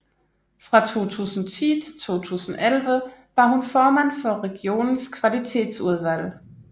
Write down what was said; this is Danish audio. Fra 2010 til 2011 var hun formand for regionens kvalitetsudvalg